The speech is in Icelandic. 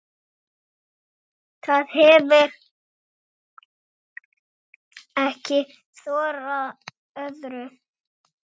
Það hefir ekki þorað öðru.